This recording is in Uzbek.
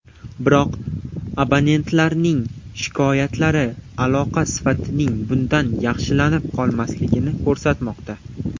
Biroq, abonentlarning shikoyatlari aloqa sifatining bundan yaxshilanib qolmaganini ko‘rsatmoqda.